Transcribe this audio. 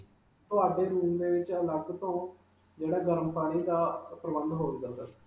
ਤੁਹਾਡੇ room ਦੇ ਵਿਚ ਅਲਗ ਤੋਂ ਜਿਹੜਾ ਗਰਮ ਪਾਣੀ ਦਾ ਪ੍ਰਬੰਧ ਹੋਵੇਗਾ sir.